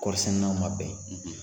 Kɔɔri sɛnɛnaw man bɛn.